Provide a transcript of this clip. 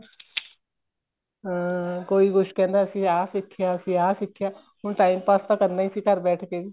ਹਾਂ ਕੋਈ ਕੁੱਛ ਕਹਿੰਦਾ ਸੀ ਆ ਸਿਖਿਆ ਅਸੀਂ ਆ ਸਿਖਿਆ ਹੁਣ time pass ਤਾਂ ਕਰਨਾ ਹੀ ਸੀ ਘਰ ਬੈਠ ਕੇ ਵੀ